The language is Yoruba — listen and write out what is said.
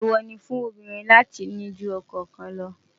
èwo ní fún obìnrin láti ní jù okò kàn ló